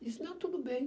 Disse, não, tudo bem.